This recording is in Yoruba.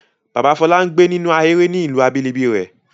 Bàbá Fọlá ń gbé nínú ahéré ní ìlú abínibí rẹ̀.